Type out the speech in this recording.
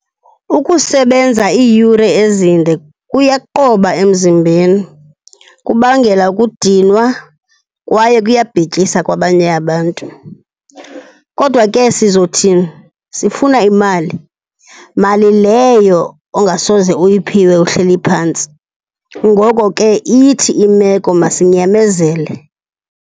Ukusebenza iiyure ezinde kuyaqoba emzimbeni. Kubangela ukudinwa kwaye kuyabhityisa kwabanye abantu. Kodwa ke sizothini? Sifuna imali, mali leyo ongasoze uyiphiwe uhleli phantsi. Ngoko ke ithi imeko masinyamezele.